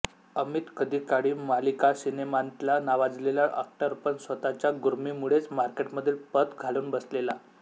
अमित कधीकाळी मालिकासिनेमांतला नावाजलेला एक्टर पण स्वतःच्या गुर्मीमुळेच मार्केटमधली पत घालवून बसलेला